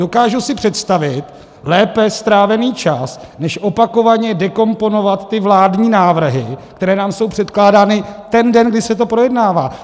Dokážu si představit lépe strávený čas než opakovaně dekomponovat ty vládní návrhy, které nám jsou předkládány ten den, kdy se to projednává.